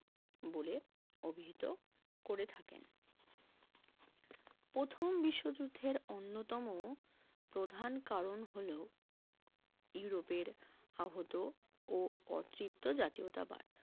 বলে অভিহিত করে থাকেন প্রথম বিশ্বযুদ্ধের অন্যতম প্রধান কারণ হলো ইউরোপের আহত ও অতিরিক্ত জাতীয়তাবাদ